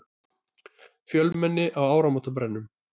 Fjölmenni á áramótabrennum